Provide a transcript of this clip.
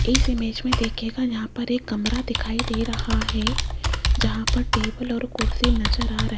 इस इमेज में देखियेगा यहां पर एक कमरा दिखाई दे रहा है जहां पर टेबल और कुर्सी नजर आ र --